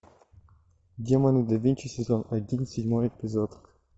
демоны да винчи сезон один седьмой эпизод